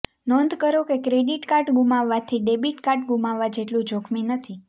નોંધ કરો કે ક્રેડિટ કાર્ડ ગુમાવવાથી ડેબિટ કાર્ડ ગુમાવવા જેટલું જોખમી નથી